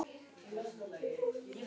Sævars til Kaupmannahafnar handtekinn.